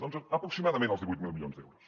doncs aproximadament els divuit mil milions d’euros